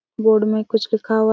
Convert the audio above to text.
board में कुछ लिखा हुआ--